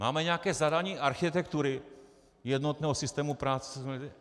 Máme nějaké zadání architektury jednotného systému práce ?